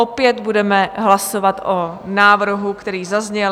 Opět budeme hlasovat o návrhu, který zazněl.)